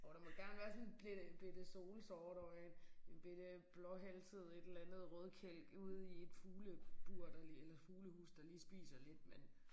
Jo der må gerne være sådan bette bette solsort og en en bette blåhalset et eller andet rødkælk ude i et fuglebur der eller fuglehus der lige spiser lidt men